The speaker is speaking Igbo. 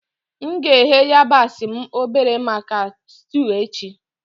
M ga-eghe yabasi m obere maka stuu echi.